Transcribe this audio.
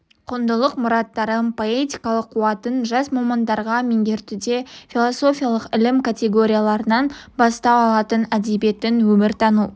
құндылық мұраттарын поэтикалық қуатын жас мамандарға меңгертуде философиялық ілім категорияларынан бастау алатын әдебиеттің өмір тану